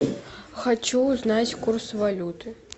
хочу узнать курс валюты